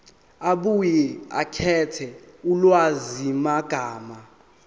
abuye akhethe ulwazimagama